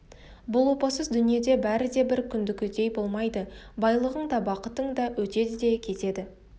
бұл опасыз дүниеде бәрі де бір күнгідей болмайды байлығың да бақытың да өтеді де кетеді